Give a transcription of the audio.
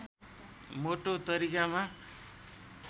मोटो तरिकामा